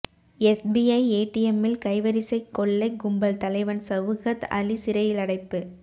SBI ஏடிஎம்மில் கைவரிசை கொள்ளை கும்பல் தலைவன் சவுகத் அலி சிறையிலடைப்பு